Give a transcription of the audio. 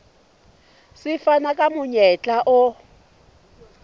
se fana ka monyetla o